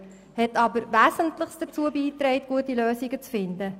Sie hat aber wesentlich dazu beigetragen, gute Lösungen zu finden.